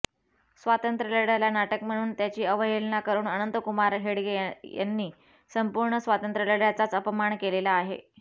स्वातंत्र्य लढ्याला नाटक म्हणून त्याची अवहेलना करुन अनंतकुमार हेडगे यांनी संपूर्ण स्वातंत्र्यलढ्याचाच अपमान केलेला आहे